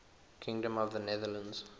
kingdom of the netherlands